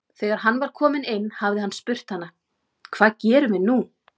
Þegar hann var kominn inn hafi hann spurt hana: Hvað gerum við nú?